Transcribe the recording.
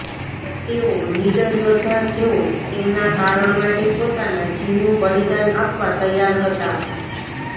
તેઓ નીડર યોદ્ધા જેઓ તેમના કારણ માટે પોતાના જીવનું બલિદાન આપવા તૈયાર હતા